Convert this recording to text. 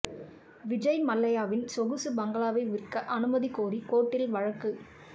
விஜய் மல்லையாவின் சொகுசு பங்களாவை விற்க அனுமதி கோரி கோர்ட்டில் வழக்கு